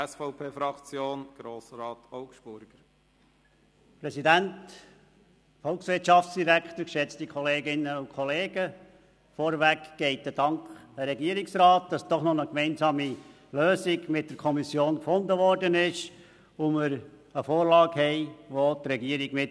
Vorweg geht ein Dank an den Regierungsrat, dafür, dass doch noch eine gemeinsame Lösung mit der Kommission gefunden worden ist und wir eine Vorlage haben, die auch die Regierung mitträgt.